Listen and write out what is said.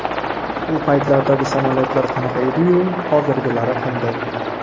U paytlardagi samolyotlar qanaqa edi-yu, hozirgilari qanday.